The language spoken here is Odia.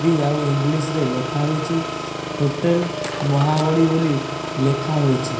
ଦି ଆଉ ଇଂଲିଶ୍ ରେ ଲେଖାହୋଇଛି। ହୋଟେଲ୍ ମହାବଳି ବୋଲି ଲେଖାହୋଇଛି।